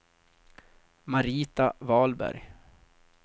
Marita Wahlberg